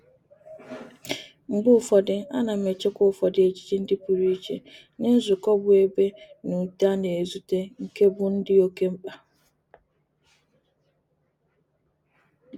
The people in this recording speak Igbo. Mgbe ufodu ana m echekwa ufodu ejiji ndi puru iche nye nzuko bu ebe n'ute a na-ezute nke mbu di oke mkpa.